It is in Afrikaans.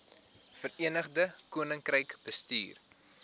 verenigde koninkryk bestuur